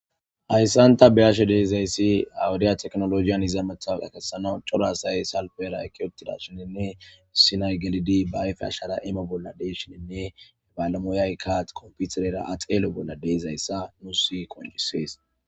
Hayisan ta be'ashe diza issi ha wodiyan tekinolge ehido cora asay salipiara eqqi uttidashinne issi na'ay gelidi ba ayife ashara imo bola de'ishinne bale moyayikka konfiterera a xelo bola de'ishin bettees.